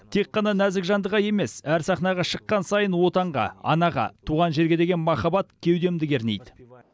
тек қана нәзік жандыға емес әр сахнаға шыққан сайын отанға анаға туған жерге деген махабат кеудемді кернейді